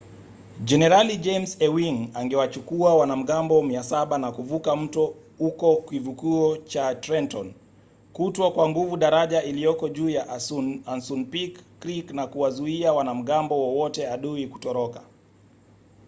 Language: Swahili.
jenerali james ewing angewachukua wanamgambo 700 na kuvuka mto huko kivukio cha trenton kutwaa kwa nguvu daraja iliyoko juu ya asunpink creek na kuwazuia wanamgambo wowote adui kutoroka